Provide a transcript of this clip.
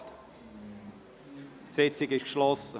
Damit ist diese Sitzung geschlossen.